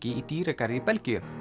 í dýragarði í Belgíu